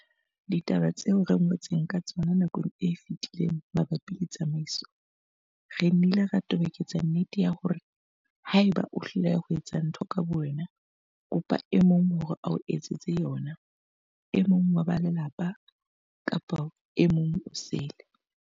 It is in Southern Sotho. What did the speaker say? Ditabeng tseo re ngotseng ka tsona nakong e fetileng mabapi le tsamaiso, re nnile ra toboketsa nnete ya hore ha eba o hloleha ho etsa ntho ka bowena, kopa e mong hore a o etsetse yona, e mong wa ba lelapa kapa e mong osele.